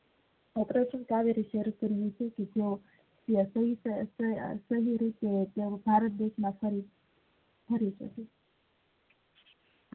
ભારત દેશ માં શરૂ કરી છે